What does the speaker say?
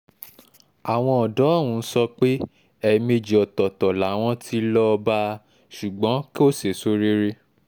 àwọn ọ̀dọ́ ọ̀hún sọ pé èmẹ́èjì ọ̀tọ̀ọ̀tọ̀ làwọn tí lọ́ọ́ bá a ṣùgbọ́n kò sèso rere